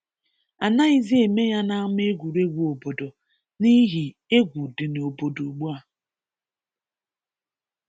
A naghịzị eme ya n’ama egwuregwu obodo n’ihi egwu dị n’obodo ugbua